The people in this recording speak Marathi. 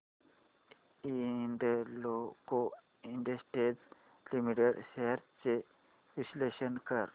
हिंदाल्को इंडस्ट्रीज लिमिटेड शेअर्स चे विश्लेषण कर